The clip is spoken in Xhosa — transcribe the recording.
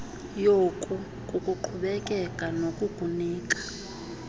yoku kukuqhubekeka nokukunika